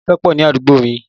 Ilé ìkan pọ̀ ní àdúgbò mi